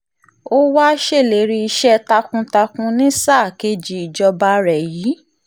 ó wáá ṣèlérí iṣẹ́ takuntakun ní sáà kejì ìjọba rẹ̀ yìí